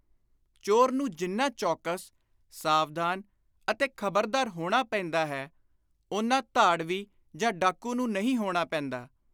ਚੋਰ ਨੂੰ ਜਿੰਨਾ ਚੌਕਸ, ਸਾਵਧਾਨ ਅਤੇ ਖ਼ਬਰਦਾਰ ਹੋਣਾ ਪੈਂਦਾ ਹੈ, ਓਨਾ ਧਾੜਵੀ ਜਾਂ ਡਾਕੂ ਨੂੰ ਨਹੀਂ ਹੋਣਾ ਪੈਂਦਾ।